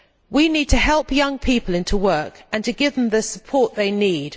We need to help young people into work and to give them the support they need.